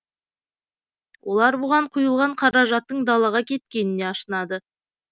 олар бұған құйылған қаражатттың далаға кеткеніне ашынады